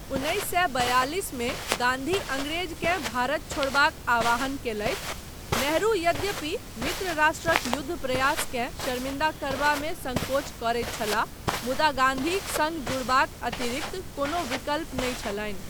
उन्नैस सए बियालिस मे गान्धी अंग्रेजकेँ भारत छोड़बाक आह्वान कयलथि, नेहरू, यद्यपि मित्र राष्ट्रक युद्ध प्रयासकेँ शर्मिंदा करबामे संकोच करैत छलाह, मुदा गान्धीक सङ्ग जुड़बाक अतिरिक्त कोनो विकल्प नहि छलनि।